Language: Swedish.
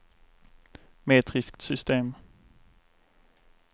metriskt system